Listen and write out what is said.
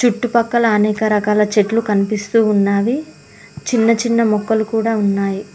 ఇటుపక్కల అనేక రకాల చెట్లు కనిపిస్తూ ఉన్నాది చిన్న చిన్న మొక్కలు కూడా ఉన్నాయి.